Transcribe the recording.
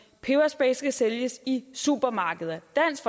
peberspray skal sælges i supermarkeder dansk